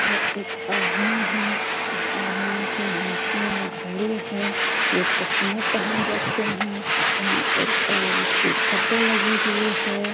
यह एक आदमी है इस आदमी के हाथ में घड़ी है ये चश्मा पेहेन रखे है यहाँ एक औरत की फोटो लगी हुई है।